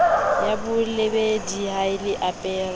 ya bolebedi ha le apare